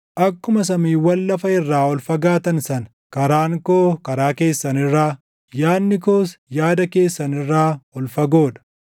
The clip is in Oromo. “Akkuma samiiwwan lafa irraa ol fagaatan sana, karaan koo karaa keessan irraa, yaadni koos yaada keessan irraa ol fagoo dha.